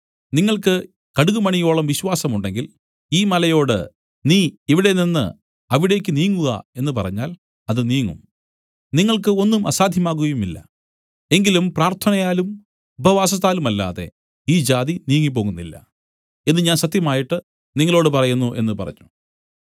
നിങ്ങൾക്ക് കടുകുമണിയോളം വിശ്വാസമുണ്ടെങ്കിൽ ഈ മലയോട് നീ ഇവിടെ നിന്നു അവിടേക്ക് നീങ്ങുക എന്നു പറഞ്ഞാൽ അത് നീങ്ങും നിങ്ങൾക്ക് ഒന്നും അസാദ്ധ്യമാകയുമില്ല എങ്കിലും പ്രാർത്ഥനയാലും ഉപവാസത്താലുമല്ലാതെ ഈ ജാതി നീങ്ങിപ്പോകുന്നില്ല എന്നു ഞാൻ സത്യമായിട്ട് നിങ്ങളോടു പറയുന്നു എന്നു പറഞ്ഞു